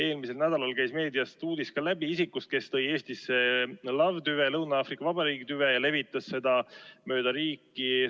Eelmisel nädalal käis meediast läbi uudis isikust, kes tõi Eestisse Lõuna-Aafrika Vabariigi tüve ja levitas seda mööda riiki.